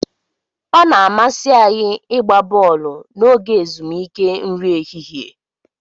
Ọ na-amasị anyị ịgba bọọlụ n'oge ezumike nri ehihie.